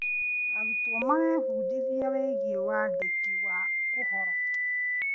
Arutwo marebundithia wĩgĩ wandĩki wa ũhoro.